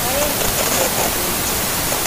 Aeng eng emetab Belgji.